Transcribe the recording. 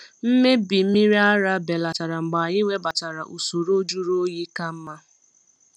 Mmebi mmiri ara belatara mgbe anyị webatara usoro jụrụ oyi ka mma.